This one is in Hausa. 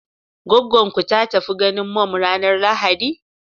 Goggon ku ta tafi ganin mum ranar lahadi?